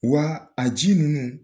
Wa a ji ninnu